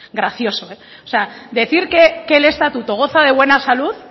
gracioso o sea decir que el estatuto goza de buena salud